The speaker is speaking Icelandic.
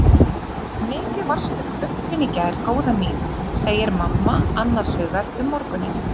Mikið varstu hvumpin í gær góða mín, segir mamma annars hugar um morguninn.